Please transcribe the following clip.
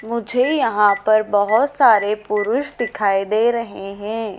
मुझे यहां पर बहुत सारे पुरुष दिखाई दे रहे हैं।